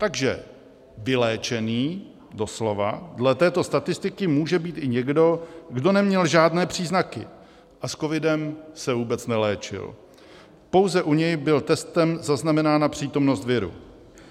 Takže vyléčený, doslova, dle této statistiky může být i někdo, kdo neměl žádné příznaky a s covidem se vůbec neléčil, pouze u něj byla testem zaznamenána přítomnost viru.